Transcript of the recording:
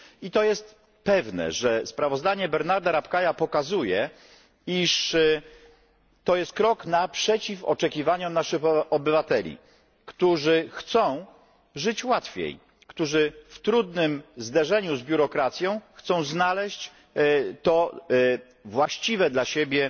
I to jest pewne, że sprawozdanie Bernarda Rapkaya pokazuje, iż to jest krok naprzeciw oczekiwaniom naszych obywateli, którzy chcą żyć łatwiej, którzy w trudnym zderzeniu z biurokracją chcą znaleźć to właściwe dla siebie